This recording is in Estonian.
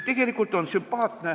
Tegelikult on sümpaatne ...